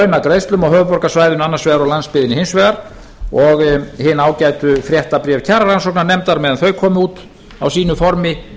á höfuðborgarsvæðinu annars vegar og á landsbyggðinni hins vegar og hin ágætu fréttabréf kjararannsóknarnefndar meðan þau komu út á sínu formi